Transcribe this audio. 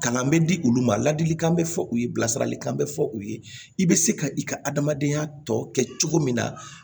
Kalan bɛ di olu ma ladilikan bɛ fɔ u ye bilasiralikan bɛ fɔ u ye i bɛ se ka i ka adamadenya tɔ kɛ cogo min na